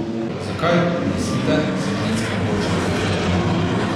Zakaj, mislite, se ženske odločajo za porod doma?